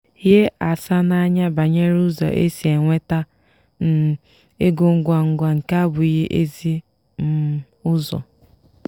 hie asa n'anya banyere ụzọ esi enweta um ego ngwa ngwa nke abụghị ezi um ụzọ.